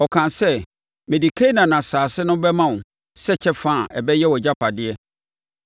Ɔkaa sɛ, “Mede Kanaan asase no bɛma wo sɛ kyɛfa a ɛbɛyɛ wʼagyapadeɛ.”